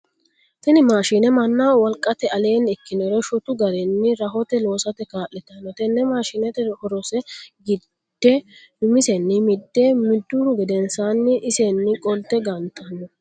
Tinni maashinne mannaho wolqate aleenni ikinore shottu garinni rahote loosate kaa'litano. Tenne maashinneti horose gide umisenni mide miduhu gedensaanni isenni qolte gantano.